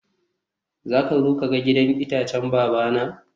zaka zo ka ga gidan itacen babana?